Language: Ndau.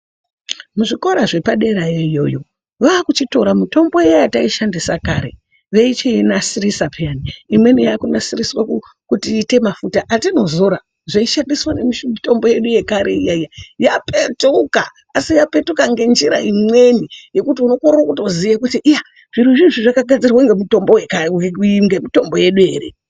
Mu zvikora zvepa derayo yoyo vaku chitora mitombo iya yatai shandisa kare veichiyi nasirisa peyani imweni yaku nasiriswa kuti iite mafuta atino zora zvei shandiswa ne mutombo yedu yekare iya iya yapetuka asi yapetuka nge njira imweni yekuti uno korere kutoziye kuti iya zviro zvo izvi zvaka gadzirwe nge mutombo yedu ere.